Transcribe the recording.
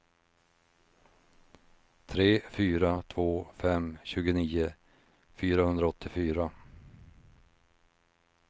tre fyra två fem tjugonio fyrahundraåttiofyra